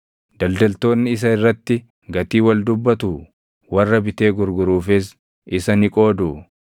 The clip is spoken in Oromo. Daldaltoonni isa irratti gatii wal dubbatuu? Warra bitee gurguruufis isa ni qooduu?